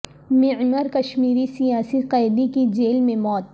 معمر کشمیری سیاسی قیدی کی جیل میں موت